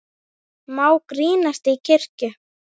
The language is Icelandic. Má grínast í kirkju?